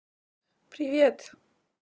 привет